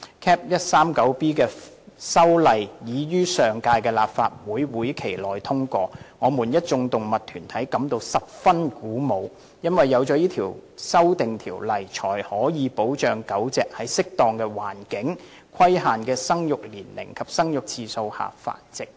Cap. 139B 的修例已於上屆立法會會期內通過，我們一眾動物團體感到十分鼓舞，因為有此修訂條例才可以保障狗隻在適當的環境、規限的生育年齡及生育次數下繁殖。